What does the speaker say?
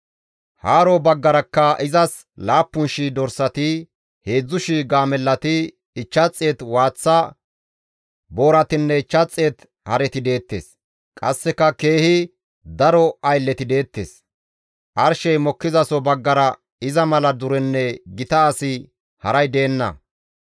Haaro baggarakka izas 7,000 dorsati, 3,000 gaamellati, 500 waaththa booratinne 500 hareti deettes; qasseka keehi daro aylleti deettes. Arshey mokkizaso baggara iza mala durenne gita asi haray deenna.